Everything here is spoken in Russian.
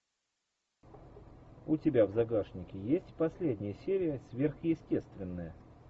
у тебя в загашнике есть последняя серия сверхъестественное